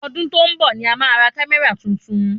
Ọdún tó ń bọ̀ ni a ma ra kamẹra tuntun